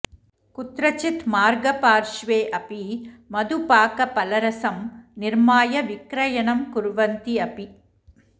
कुत्रचित् मार्गपार्श्वे अपि मधुपाकफलरसं निर्माय विक्रयणं कुर्वन्ति अपि